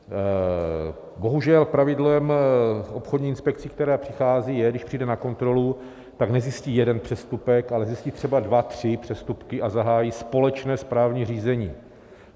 Bohužel pravidlem obchodní inspekce, která přichází, je, když přijde na kontrolu, tak nezjistí jeden přestupek, ale zjistí třeba dva tři přestupky a zahájí společné správní řízení.